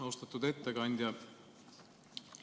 Austatud ettekandja!